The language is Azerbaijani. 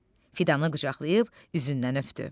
Fidanı qucaqlayıb üzündən öpdü.